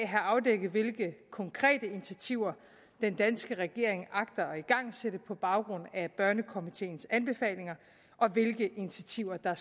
have afdækket hvilke konkrete initiativer den danske regering agter at igangsætte på baggrund af børnekomiteens anbefalinger og hvilke initiativer der